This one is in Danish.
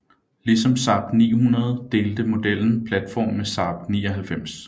Ligesom Saab 900 delte modellen platform med Saab 99